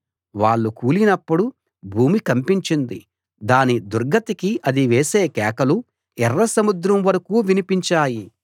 వాళ్ళు కూలినప్పుడు భూమి కంపించింది దాని దుర్గతికి అది వేసే కేకలు ఎర్ర సముద్రం వరకూ వినిపించాయి